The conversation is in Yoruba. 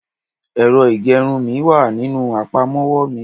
ẹrọ igerun mi wa ní inú apamọwọ mi